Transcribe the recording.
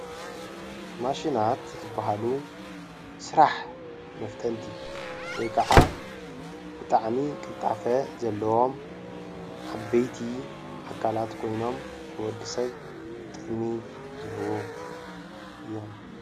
ማሽናት ዝበሃሉ ስራሕ መፍጠንቲ ወይ ከዓ ብጣዕሚ ቅልጣፈ ዘለዎም ዓበይቲ ኣካላት ኮይኖም ንወዲ ሰብ ጥቕሚ ዝህቡ እዮም፡፡